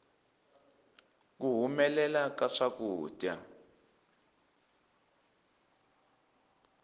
ku humelela ka swakudya